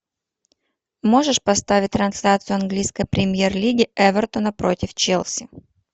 можешь поставить трансляцию английской премьер лиги эвертона против челси